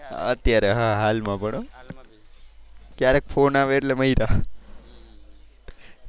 અત્યારે હા હાલ માં પણ. ક્યારેક ફોન આવે એટલે મર્યા.